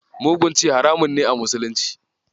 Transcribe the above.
Mugun ci haramun ne a musulunci.